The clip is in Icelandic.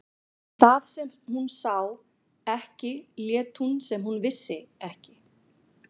Það sem hún sá ekki lét hún sem hún vissi ekki.